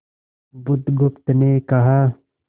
बुधगुप्त ने कहा